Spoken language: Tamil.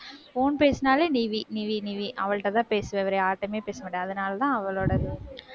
phone பேசினாலே, நிவி நிவி நிவி அவள்ட்டதான் பேசுவேன் வேற யார்கிட்டேயுமே பேசமாட்டேன் அதனாலேதான், அவளோடது.